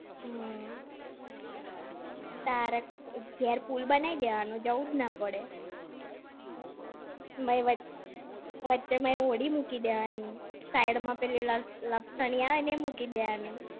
હમ્મ. તારે ઘેર pool બનાઈ દેવાનો જવું જ ના પડે. એમાંય વચ્ચે હોડી મૂકી દેવાની, side માં પેલી લપસણી આવે ને એ મૂકી દેવાની.